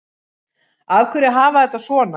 Af hverju að hafa þetta svona